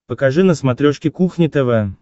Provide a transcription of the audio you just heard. покажи на смотрешке кухня тв